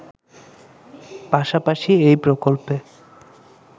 পাশাপাশি এই প্রকল্পে